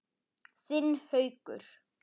Þinn Haukur.